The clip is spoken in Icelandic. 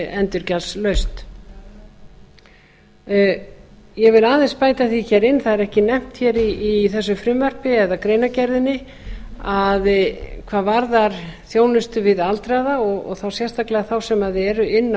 endurgjaldslaust ég vil aðeins bæta því hér inn það er ekki nefnt hér í þessu frumvarpi eða greinargerðinni að hvað varðar þjónustu við aldraða og þá sérstaklega þá sem eru inni